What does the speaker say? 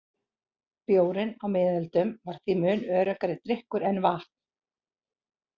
Bjórinn á miðöldum var því mun öruggari drykkur en vatn.